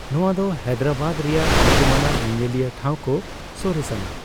ᱱᱚᱣᱟ ᱫᱚ ᱦᱟᱭᱫᱨᱟᱵᱟᱫ ᱨᱮᱭᱟᱜ ᱧᱩᱢᱟᱱᱟᱜ ᱧᱮᱧᱮᱞᱤᱭᱟᱹ ᱴᱷᱟᱣ ᱠᱚ ᱥᱚᱨᱮᱥᱟᱱᱟᱜ ᱾